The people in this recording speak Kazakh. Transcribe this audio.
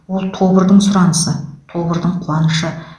ол тобырдың сұранысы тобырдың қуанышы